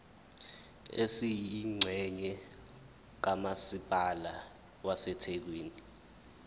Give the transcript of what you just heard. esiyingxenye kamasipala wasethekwini